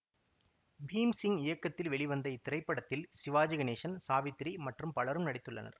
பீம்சிங் இயக்கத்தில் வெளிவந்த இத்திரைப்படத்தில் சிவாஜி கணேசன் சாவித்திரி மற்றும் பலரும் நடித்துள்ளனர்